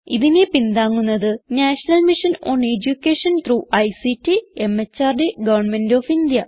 ഇതിനെ പിന്താങ്ങുന്നത് national mission on education through ICT MHRD government of India